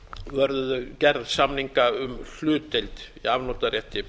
vörðuðu gerð samninga um hlutdeild í afnotarétti